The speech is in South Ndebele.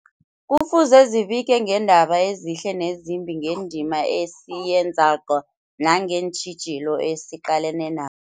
Kufuze zibike ngeendaba ezihle nezimbi, ngendima esiyenzako nangeentjhijilo esiqalene na